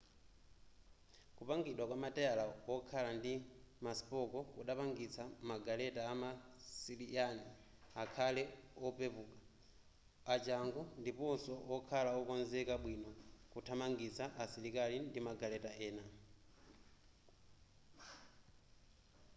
kupangidwa kwa mateyala okhala ndi maspoko kudapangitsa magaleta ama asiryan akhale opeouka achangu ndiponso okhala okonzeka bwino kuthamangitsa asilikali ndi magaleta ena